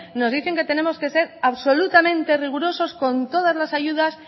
nos dicen que tenemos que ser absolutamente rigurosos con todas las ayudas